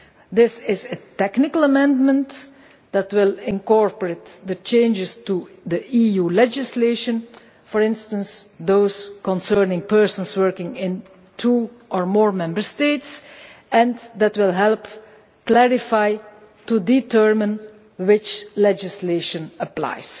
This is a technical amendment that will incorporate the changes to the EU legislation, for instance those concerning persons working in two or more Member States, and that will help determine which legislation applies.